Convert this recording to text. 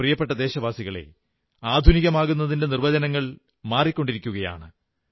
എന്റെ പ്രിയപ്പെട്ട ദേശവാസികളേ ആധുനികമാകുന്നതിന്റെ നിർവ്വചനങ്ങൾ മാറിക്കൊണ്ടിരിക്കയാണ്